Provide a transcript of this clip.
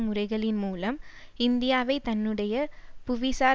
முறைகளின் மூலம் இந்தியாவை தன்னுடைய புவிசார்